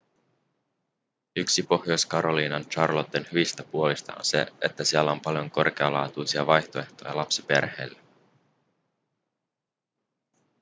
yksi pohjois-carolinan charlotten hyvistä puolista on se että siellä on paljon korkealaatuisia vaihtoehtoja lapsiperheille